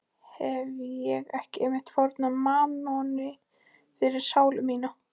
Hefi ég ekki einmitt fórnað mammoni fyrir sálu mína?